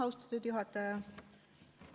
Austatud juhataja!